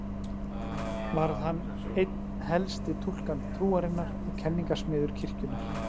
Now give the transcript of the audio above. Varð hann einn helsti túlkandi trúarinnar og kenningasmiður kirkjunnar.